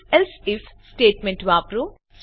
સંકેત ifએલ્સે IF statement વાપરો